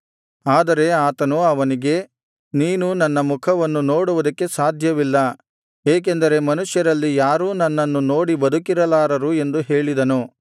ಆದರೆ ಆತನು ಅವನಿಗೆ ನೀನು ನನ್ನ ಮುಖವನ್ನು ನೋಡುವುದಕ್ಕೆ ಸಾಧ್ಯವಿಲ್ಲ ಏಕೆಂದರೆ ಮನುಷ್ಯರಲ್ಲಿ ಯಾರೂ ನನ್ನನ್ನು ನೋಡಿ ಬದುಕಿರಲಾರನು ಎಂದು ಹೇಳಿದನು